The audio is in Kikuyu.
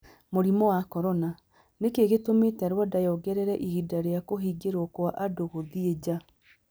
Mũrimũ wa Corona: Nĩ kĩĩ gĩtũmĩte Rwanda yongerere ihinda rĩa kũhingĩrũo kwa andũ gũthiĩ nja?